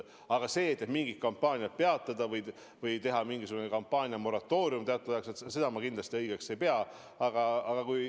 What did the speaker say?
Aga seda, et mingid kampaaniad peatada või teha mingisugune kampaaniamoratoorium teatud ajaks, ma kindlasti õigeks ei pea.